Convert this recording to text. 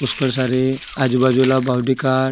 उस्कर सारे आजुबाजुला बावडी काट --